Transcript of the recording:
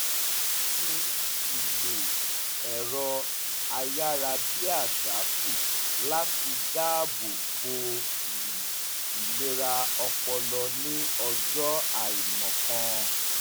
wọ́n dín ìlò ẹ̀rọ ayárabíàṣá kù láti daabò bo um ìlera ọpọlọ ní ọjọ́ àìmọ̀kan